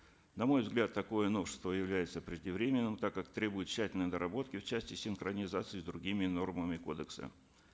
на мой взгляд такое новшество является преждевременным так как требует тщательной доработки в части синхронизации с другими нормами кодекса